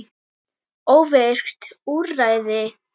Óvirkt úrræði?